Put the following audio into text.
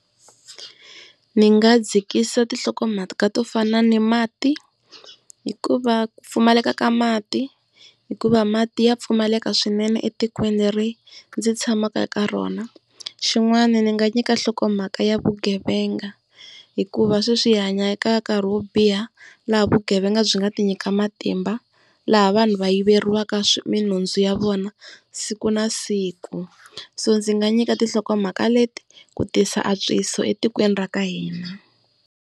Ndzi nga dzikisa tinhlokomhaka ka to fana ni mati, hikuva ku pfumaleka ka mati, hikuva mati ya pfumaleka swinene etikweni leri ndzi tshamaka eka rona. Xin'wana ndzi nga nyika nhlokomhaka ya vugevenga hikuva sweswi hi hanya eka nkarhi wo biha laha vugevenga byi nga ti nyika matimba, laha vanhu va yiveriwa minhundzu ya vona siku na siku. So ndzi nga nyika tinhlokomhaka leti ku tisa antswiso etikweni ra ka hina.